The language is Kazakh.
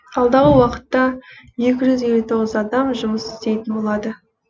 алдағы уақытта екі жүз елу тоғыз адам жұмыс істейтін болады